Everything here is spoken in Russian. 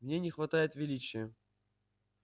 в ней не хватает величия